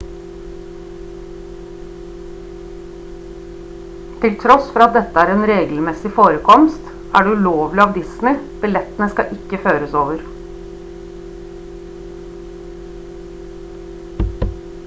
til tross for at dette er en regelmessig forekomst er det ulovlig av disney billettene skal ikke føres over